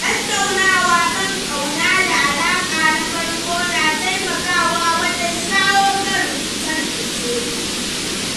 Tattaunawa kan ƙauna da alaƙa na farko yana taimakawa wajen shawo kan rikice-rikice.